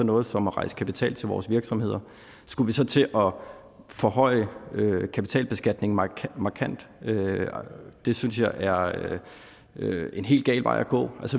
noget som at rejse kapital til vores virksomheder skulle vi så til at forhøje kapitalbeskatningen markant det synes jeg er en helt gal vej at gå